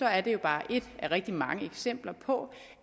er det jo bare ét af rigtig mange eksempler på